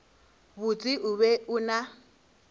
botse o be o na